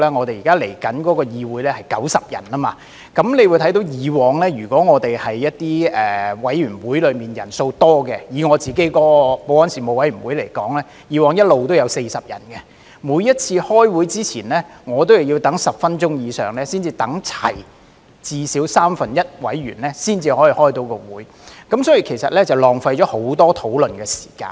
未來的議會將會有90位議員，以往一些委員會的委員人數較多，以我擔任主席的保安事務委員會為例，以往一直也有40人，每次開會之前，我也要等待10分鐘以上，等到至少三分之一的委員出席才可以開會，因而浪費了很多討論的時間。